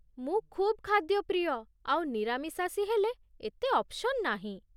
ମୁଁ ଖୁବ୍ ଖାଦ୍ୟ ପ୍ରିୟ, ଆଉ ନିରାମିଶାଷୀ ହେଲେ ଏତେ ଅପ୍ସନ୍ ନାହିଁ ।